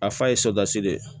A fa ye de ye